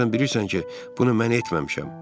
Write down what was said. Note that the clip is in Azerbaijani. Axı sən bilirsən ki, bunu mən etməmişəm.